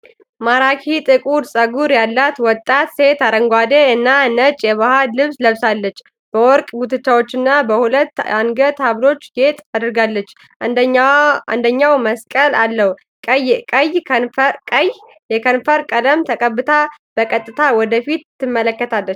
ማራኪ ጥቁር ፀጉር ያላት ወጣት ሴት አረንጓዴ እና ነጭ የባህል ልብስ ለብሳለች። በወርቅ ጉትቻዎችና በሁለት የአንገት ሀብሎች ጌጥ አድርጋለች፤ አንደኛው መስቀል አለው። ቀይ የከንፈር ቀለም ተቀብታ በቀጥታ ወደ ፊት ትመለከታለች።